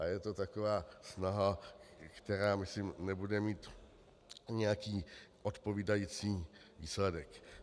A je to taková snaha, která, myslím, nebude mít nějaký odpovídající výsledek.